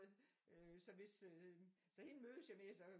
Så hvis øh så hende mødes jeg med så